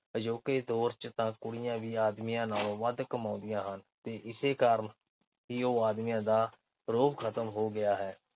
ਅਜੋਕੇ ਦੌਰ ਚ ਤਾਂ ਕੁੜੀਆਂ ਵੀ ਆਦਮੀਆਂ ਨਾਲੋਂ ਵੱਧ ਕਮਾਉਂਦੀਆਂ ਹਨ ਤੇ ਇਸੇ ਕਾਰਨ ਹੀ ਉਹ ਆਦਮੀਆਂ ਦਾ ਰੋਹਬ ਖਤਮ ਹੋ ਗਿਆ ਹੈ।